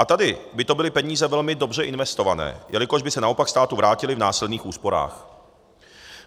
A tady by to byly peníze velmi dobře investované, jelikož by se naopak státu vrátily v následných úsporách.